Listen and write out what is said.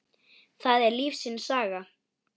Það er lífsins saga.